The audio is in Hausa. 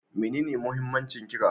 Menene muhimmancin ƙira?